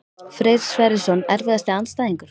Freyr Sverrisson Erfiðasti andstæðingur?